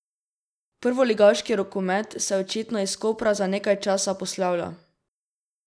Prvoligaški rokomet se očitno iz Kopra za nekaj časa poslavlja.